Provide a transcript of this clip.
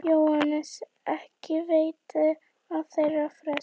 JÓHANNES: Ekki veita þeir frest.